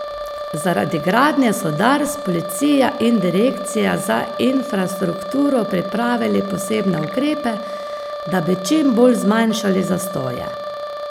Zaradi gradnje so Dars, policija in direkcija za infrastrukturo pripravili posebne ukrepe, da bi čim bolj zmanjšali zastoje.